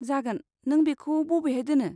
जागोन, नों बेखौ बबेहाय दोनो?